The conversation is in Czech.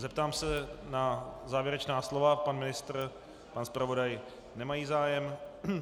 Zeptám se na závěrečná slova - pan ministr, pan zpravodaj nemají zájem.